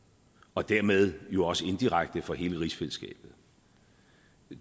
og dermed jo også inddirekte for hele rigsfællesskabet